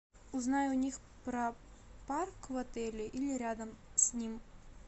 узнай у них про парк в отеле или рядом с ним